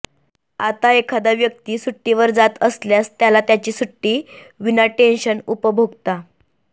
आता एखादा व्यक्ती सुट्टीवर जात असल्यास त्याला त्याची सुट्टी विनाटेंशन उपभोगता